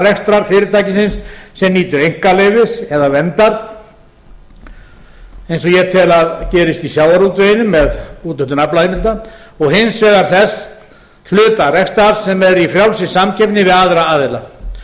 rekstrar fyrirtækisins sem nýtur einkaleyfis eða verndar eins og ég tel að gerist í sjávarútveginum með úthlutun aflaheimilda og hins vegar þess hluta rekstrar sem er í frjálsri samkeppni við aðra aðila